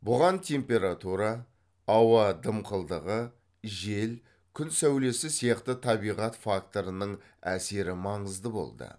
бұған температура ауа дымқылдығы жел күн сәулесі сияқты табиғат факторының әсері маңызды болды